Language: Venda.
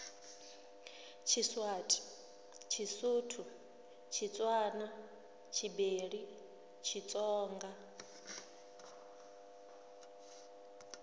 tshiswati tshisuthu tshitswana tshibeli tshitsonga